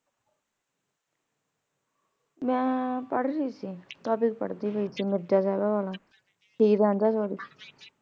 ਮੈਂ ਪਢ਼ ਰਹੀ ਸੀ topic ਮਿਰਜ਼ਾ ਸਾਹਿਬਾ ਵਾਲਾ ਹੀਰ ਰਾਂਝਾ